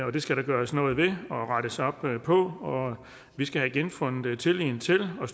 og det skal der gøres noget ved og rettes op på og vi skal have genfundet tilliden til og